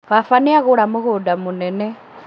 Baba nĩagũra mũgũnda mũnene